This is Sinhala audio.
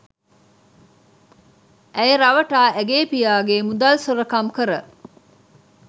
ඇය රවටා ඇගේ පියාගේ මුදල් සොරකම් කර